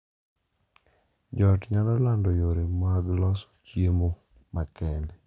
Jo ot nyalo lando yore mag loso chiemo makende